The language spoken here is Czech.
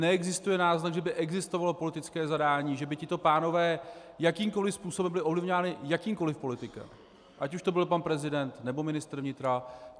Neexistuje náznak, že by existovalo politické zadání, že by tito pánové jakýmkoli způsobem byli ovlivňováni jakýmkoli politikem, ať už to byl pan prezident, nebo ministr vnitra.